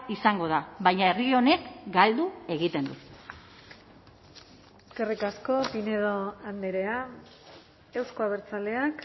izango da baina herri honek galdu egiten du eskerrik asko pinedo andrea euzko abertzaleak